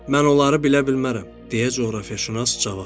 "Mən onları bilə bilmərəm," deyə coğrafiyaşünas cavab verdi.